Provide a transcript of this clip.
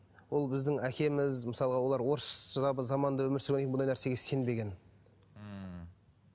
ол біздің әкеміз мысалға олар орысша заманда өмір сүргеннен кейін бұндай нәрсеге сенбеген ммм